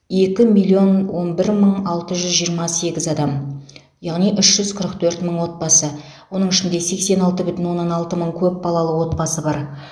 екі миллион он бір мың алты жүз жиырма сегіз адам яғни үш жүз қырық төрт мың отбасы оның ішінде сексен алты бүтін оннан алты мың көпбалалы отбасы бар